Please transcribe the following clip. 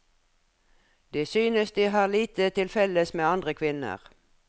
De synes de har lite til felles med andre kvinner.